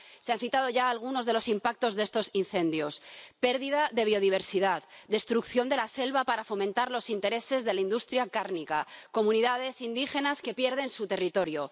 Se han citado ya algunos de los impactos de estos incendios pérdida de biodiversidad, destrucción de la selva para fomentar los intereses de la industria cárnica, comunidades indígenas que pierden su territorio.